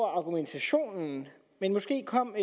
argumentationen men måske kom